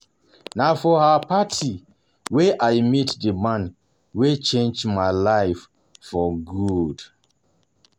Na for Na for her party wey I meet the man wey change my life for good